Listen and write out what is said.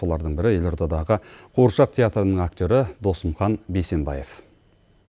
солардың бірі елордадағы қуыршақ театрының актері досымхан бейсенбаев